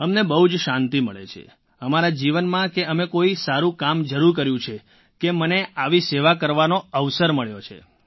અમને બહુ જ શાંતિ મળે છે અમારા જીવનમાં કે અમે કોઈ સારું કામ જરૂર કર્યું છે કે મને આવી સેવા કરવાનો અવસર મળ્યો છે